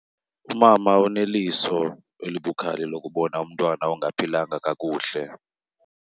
Umama uneliso elibukhali lokubona umntwana ongaphilanga kakuhle.